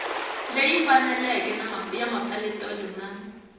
leyi faneleke ya mapeletelo na